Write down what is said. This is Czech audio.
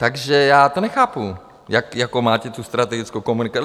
Takže já to nechápu, jakou máte tu strategickou komunikaci.